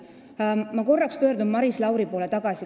Ma pöördun korraks uuesti Maris Lauri poole.